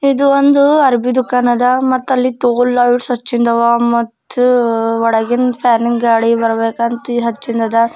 ಇದು ಒಂದು ಅರ್ವೀ ದುಃಖಾನ್ ಅದ ಮತ್ತೆ ಅಲ್ಲಿ ಒಳ್ಗಿನ ಫ್ಯಾನು ಗಾಳಿ ಬರ್ಬೆಕ್ ಅಂಥ ಹಚ್ಚಿಂದಾವ --